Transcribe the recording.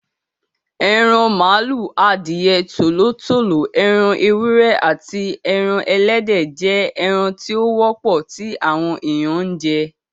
Eran màlúù, adìẹ, Tòló tòló, ẹran ewúrẹ́, aàti ẹran Ẹlẹ́dẹ̀ jẹ́ ẹran tí ó wọ́pọ̀ tí àwọn èèyàn ń jẹ.